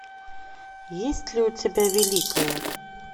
есть ли у тебя великая